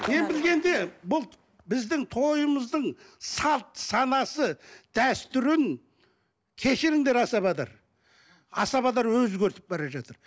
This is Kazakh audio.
мен білгенде бұл біздің тойымыздың салт санасы дәстүрін кешіріңдер асабалар асабалар өзгертіп бара жатыр